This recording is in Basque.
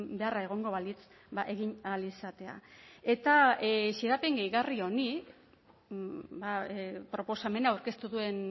beharra egongo balitz egin ahal izatea eta xedapen gehigarri honi proposamena aurkeztu duen